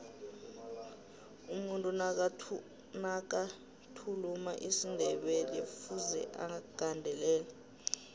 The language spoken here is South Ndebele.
umuntu nakathuluma isindebelekufuze agandelele